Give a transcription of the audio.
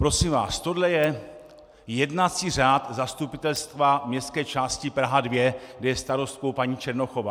Prosím vás, tohle je jednací řád zastupitelstva Městské části Praha 2, kde je starostkou paní Černochová.